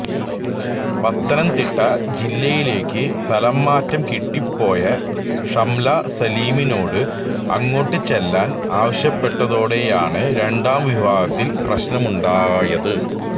പത്തനംതിട്ട ജില്ലയിലേക്കു സ്ഥലംമാറ്റം കിട്ടി പോയ ഷംല സലിമിനോട് അങ്ങോട്ടു ചെല്ലാൻ ആവശ്യപ്പെട്ടതോടെയാണ് രണ്ടാം വിവാഹത്തിൽ പ്രശ്നമുണ്ടായത്